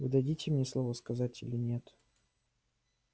вы дадите мне слово сказать или нет